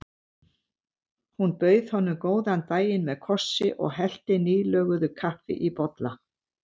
Hún bauð honum góðan daginn með kossi og hellti nýlöguðu kaffi í bolla.